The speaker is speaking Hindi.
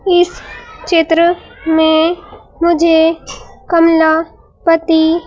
इस चित्र में मुझे कमला पति--